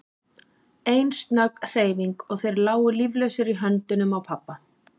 Ein snögg hreyfing og þeir lágu líflausir í höndunum á pabba.